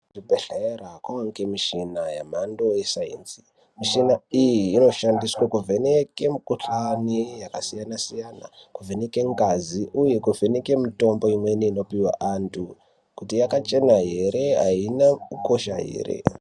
Kuzvibhedhlera kunovanikwe michina yemhando yesainzi. Michina iyi inosenzeswe kuvheneke mikuhlani yakasiyana-siyana, kuvheneke ngazi uye kuvheneke imweni mitombo inopuhwe antu kuti yakachena ere haina kukosha ere.